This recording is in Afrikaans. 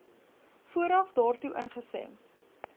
vooraf daartoe ingestem